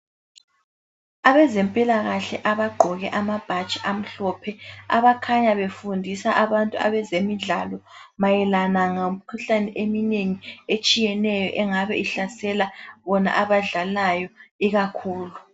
Abezempilakahle abagqoke amabhatshi amhlophe abakhanya befundisa abantu abezemidlalo mayelana ngemikhuhlane eminengi etshiyeneyo engabe ihlasela bona abadlalayo ikakhulu.